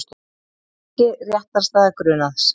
Ekki réttarstaða grunaðs